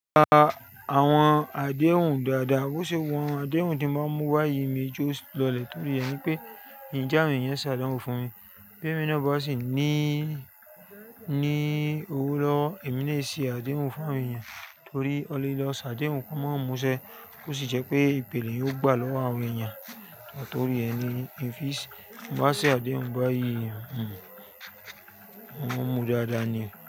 Gba àwọn àdéhùn dáadáa. Ó ṣe wọ́n àdéhùn tí máa ń mú wá yìí mi i jẹ o lọlẹ̀ torí rẹ ni pé mii n jẹ àwọn ẹ̀yàn ṣàdánwò fún mi. Bóyá èmi náà bá sì ní, ní owó lọ́wọ́, èmi na e ṣe àdéhùn fún àwọn èèyàn torí ọ́ le lọ ṣàdéhùn kan máa múṣẹ́ ó sì jẹ́ pé ìpèlé yóò gbà lọ́wọ́ àwọn èèyàn. Nítorí ẹ ni ń fi bá ṣe àdéhùn bá yìí ẹ̀, ń mú dáadáa ni.